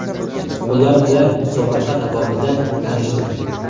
Ular bilan musobaqa davomida tanishdim.